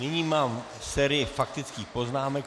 Nyní mám sérii faktických poznámek.